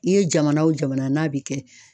I ye jamana o jamana n'a bi kɛ